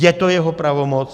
Je to jeho pravomoc.